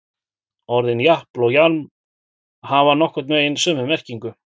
Orðin japl og jaml hafa nokkurn veginn sömu merkingu.